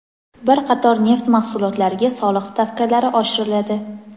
Bir qator neft mahsulotlariga soliq stavkalari oshiriladi.